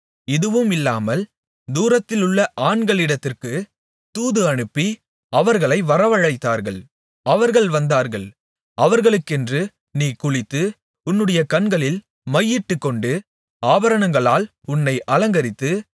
இதுவும் இல்லாமல் தூரத்திலுள்ள ஆண்களிடத்திற்குத் தூது அனுப்பி அவர்களை வரவழைத்தார்கள் அவர்கள் வந்தார்கள் அவர்களுக்கென்று நீ குளித்து உன்னுடைய கண்களில் மையிட்டுக்கொண்டு ஆபரணங்களால் உன்னை அலங்கரித்து